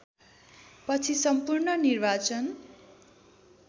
पछि सम्पूर्ण निर्वाचन